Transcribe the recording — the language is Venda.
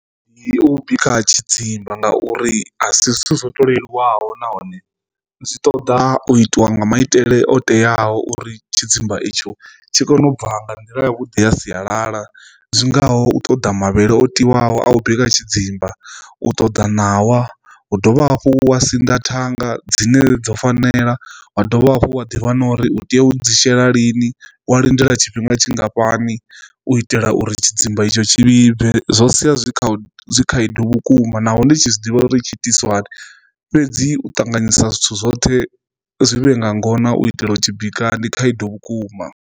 Ndi u bika tshidzimba ngauri a si zwithu zwo ṱoleliwaho nahone zwi ṱoḓa u itiwa nga maitele o teaho uri tshidzimba itsho tshi kone ubva nga nḓila ya vhuḓi ya sialala zwingaho u ṱoḓa mavhele o tiwaho a u bika tshidzimba, u ṱoḓa ṋawa, u dovha hafhu wa sinḓa thanga dzine dzo fanela wa dovha hafhu wa ḓivha na uri u tea u dzi shela lini wa lindela tshifhinga tshingafhani u itela uri tshidzimba itsho tshi vhibve, zwo sia zwi kha khaedu vhukuma naho ndi tshi zwiḓivha uri tshi itiswa hani fhedzi u ṱanganyisa zwithu zwoṱhe zwi vhe nga ngona u itela u tshi bika ndi khaedu vhukuma.